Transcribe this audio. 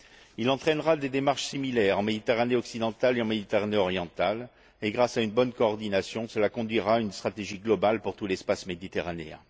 Il entraînera des démarches similaires en Méditerranée occidentale et en Méditerranée orientale et, grâce à une bonne coordination, débouchera sur une stratégie globale pour tout l'espace méditerranéen.